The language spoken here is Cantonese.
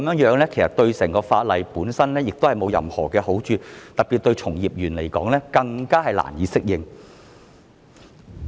現在這樣對整套法例沒有任何好處，特別令從業人員更難以適應。